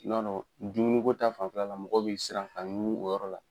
N' dumuniko ta fan fɛla mɔgɔ bɛ siran ka ɲungun o yɔrɔ la.